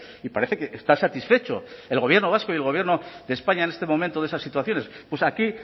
y parece que está satisfecho el gobierno vasco y el gobierno de españa en este momento de esas situaciones pues aquí